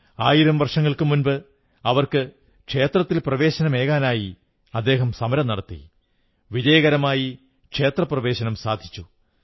ആയിരം വർഷങ്ങൾക്കു മുമ്പ് അവർക്ക് ക്ഷേത്രത്തിൽ പ്രവേശനമേകാനായി അദ്ദേഹം സമരം നടത്തി വിജയകരമായി ക്ഷേത്രപ്രവേശനം സാധിച്ചു